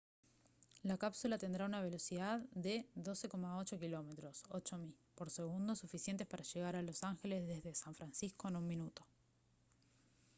la cápsula tendrá una velocidad de 12,8 km 8 mi por segundo suficiente para llegar a los ángeles desde san francisco en un minuto